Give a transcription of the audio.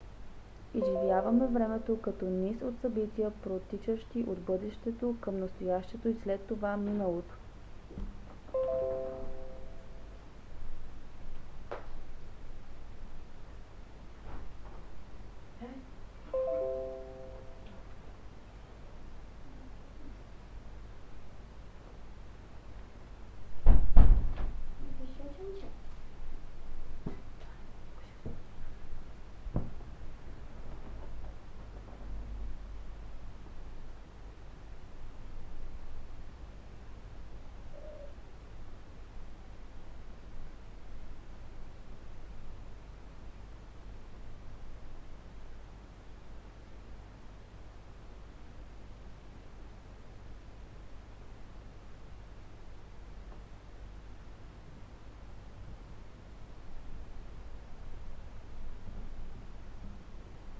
изживяваме времето като низ от събития протичащи от бъдещето към настоящето и след това миналото